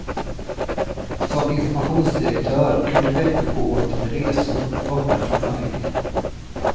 Som informationsdirektör kunde veckor gå åt till resor, borta från familjen.